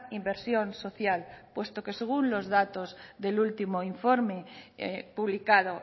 inversión social puesto que según los datos del último informe publicado